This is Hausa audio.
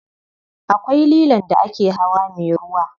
Akwai lilon da ake hawa me ruwa.